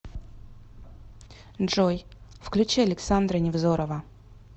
джой включи александра невзорова